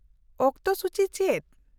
-ᱚᱠᱛᱚ ᱥᱩᱪᱤ ᱪᱮᱫ ?